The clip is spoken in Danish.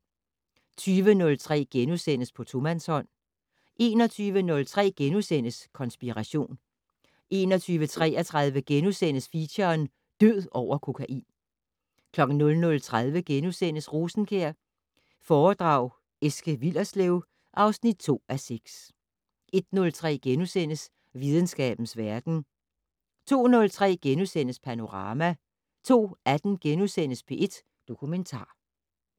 20:03: På tomandshånd * 21:03: Konspiration * 21:33: Feature: Død over kokain * 00:30: Rosenkjær foredrag Eske Willerslev (2:6)* 01:03: Videnskabens verden * 02:03: Panorama * 02:18: P1 Dokumentar *